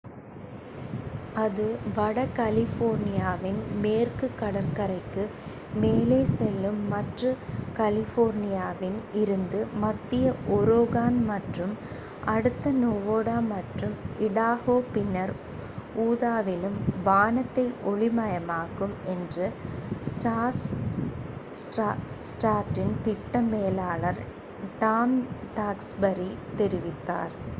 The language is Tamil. அது வட கலிபோர்னியாவின் மேற்குக் கடற்கரைக்கு மேலே செல்லும் மற்றும் கலிபோர்னியாவில் இருந்து மத்திய ஒரேகான் மற்றும் அடுத்து நெவாடா மற்றும் இடாஹோ பின்னர் உதாவிலும் வானத்தை ஒளி மயமாக்கும் என்று ஸ்டார்டஸ்ட்டின் திட்ட மேலாளர் டாம் டாக்ஸ்பரி தெரிவித்தார்